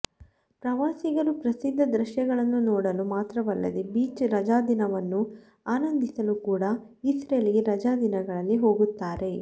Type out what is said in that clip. ಪ್ರವಾಸಿಗರು ಪ್ರಸಿದ್ಧ ದೃಶ್ಯಗಳನ್ನು ನೋಡಲು ಮಾತ್ರವಲ್ಲದೆ ಬೀಚ್ ರಜಾದಿನವನ್ನು ಆನಂದಿಸಲು ಕೂಡಾ ಇಸ್ರೇಲ್ಗೆ ರಜಾದಿನಗಳಲ್ಲಿ ಹೋಗುತ್ತಾರೆ